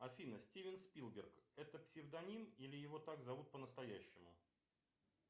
афина стивен спилберг это псевдоним или его так зовут по настоящему